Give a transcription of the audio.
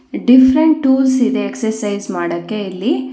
Different tools ಇದೆ exercise ಮಾಡಕ್ಕೆ ಇಲ್ಲಿ.